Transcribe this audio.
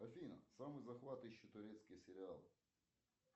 афина самый захватывающий турецкий сериал